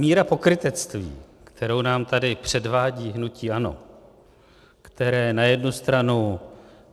Míra pokrytectví, kterou nám tady předvádí hnutí ANO, které na jednu stranu...